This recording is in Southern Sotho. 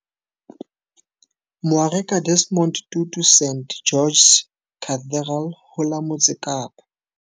Moarekabishopo Desmond Tutu St George's Cathedral ho la Motse Kapa.